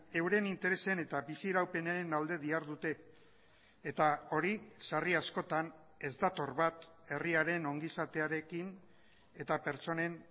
euren interesen eta bizi iraupenen alde dihardute eta hori sarri askotan ez dator bat herriaren ongizatearekin eta pertsonen